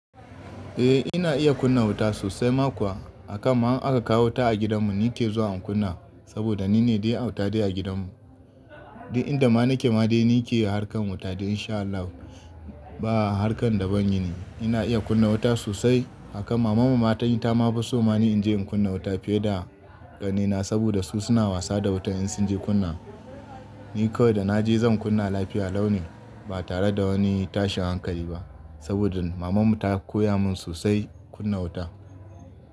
Eh ina iya kunna wuta sosai ma kuwa. Akan ma in aka kawo wuta a gidanmu nine ke zuwa in kunna saboda nine dai auta dai a gidanmu. Duk inda ma nake ma dai nike harkar wuta dai in sha Allah ba harkar da ban yi ni. Ina iya kunna wuta sosai. Hakan mamanmu ma tai ta ma fi so mani in je in kunna wuta fiye da ƙanaina saboda su suna wasa da wuta in sun je kunna. Ni ko da na je zan kunna lafiya launin ba tare da wani tashin hankali ba saboda mamanmu ta koya mun sosai kunna wuta.